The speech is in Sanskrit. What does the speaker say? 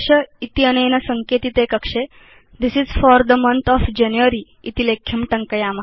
इत्यनेन सङ्केतिते कक्षे this is for the month of January इति लेख्यं टङ्कयाम